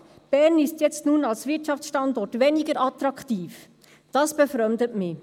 Die Aussage, «Bern ist nun als Wirtschaftsstandort weniger attraktiv», befremdet mich.